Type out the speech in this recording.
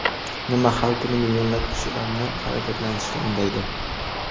Nima har kuni millionlab kishilarni harakatlanishga undaydi?